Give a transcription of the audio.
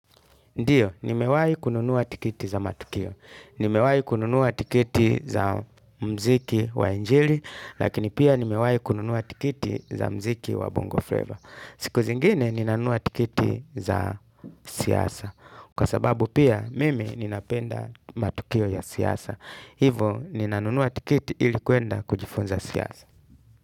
Ndiyo, nimewahi kununua tikiti za matukio. Nimewahi kununua tiketi za muziki wa injili, lakini pia nimewahi kununua tiketi za muziki wa bongo flavor. Siku zingine, ninanunua tiketi za siasa. Kwa sababu pia, mimi ninapenda matukio ya siasa. Hivo, ninanunuwa tiketi ili kwenda kujifunza siasa.